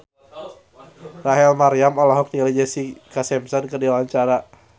Rachel Maryam olohok ningali Jessica Simpson keur diwawancara